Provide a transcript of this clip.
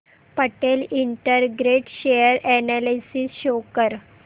Patel integrate share analysis show कर